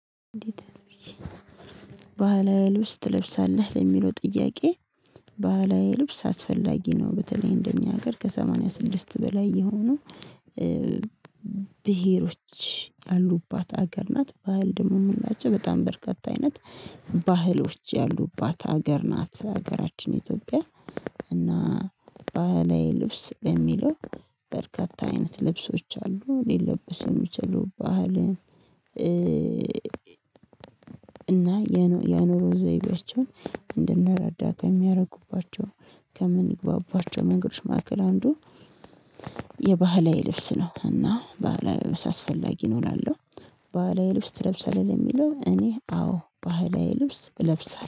"ባህላዊ ልብስ ትለብሳለህ?" ለሚለው ጥያቄ ባህላዊ ልብስ አስፈላጊ ነው። በተለይ እንደኛ ሀገር ከሰማንያ ስድስት በላይ የሆኑ ብሄሮች ያሉባት ሀገር ናት። ባህል ደግሞ የምንላቸው በጣም በርካታ አይነት ባህሎች ያሉባት ሀገር ናት። ሀገራችን ኢትዮጵያ እና ባህላዊ ልብስ በሚለው በርካታ አይነት ልብሶች አሉ። ሊለበሱ የሚችሉ ባህልን እና የኑሮ ዘይቤያቸውን እንድንረዳ ከሚያደረጉባቸው ከምንግባባቸው መንገዶች መካከል አንዱ የባህላዊ ልብስ ነው። እና ባህላዊ ልብስ አስፈላጊ ነው እላለሁ። ባህላዊ ልብስ ትለብሳለህ? የሚለው እኔ አዎ ባህላዊ ልብስ እለብሳለሁ።